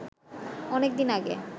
অনেক দিন আগে